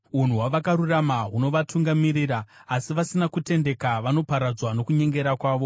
Unhu hwavakarurama hunovatungamirira, asi vasina kutendeka vanoparadzwa nokunyengera kwavo.